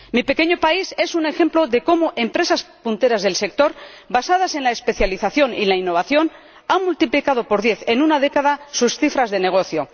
Mi pequeño país es un ejemplo de cómo empresas punteras del sector, basadas en la especialización y la innovación han multiplicado por diez en una década sus cifras de negocio.